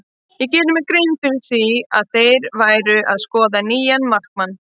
Ég gerði mér grein fyrir því að þeir væru að skoða nýjan markmann.